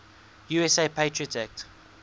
usa patriot act